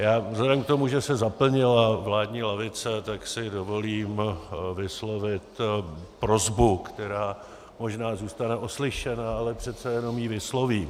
Já vzhledem k tomu, že se zaplnila vládní lavice, tak si dovolím vyslovit prosbu, která možná zůstane oslyšena, ale přece jenom ji vyslovím.